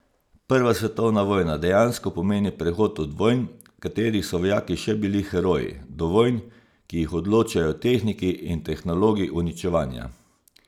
Prva svetovna vojna dejansko pomeni prehod od vojn, v katerih so vojaki še bili heroji, do vojn, ki jih odločajo tehniki in tehnologi uničevanja.